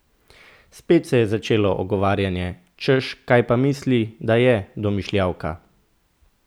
Spet se je začelo ogovarjanje, češ kaj pa misli, da je, domišljavka!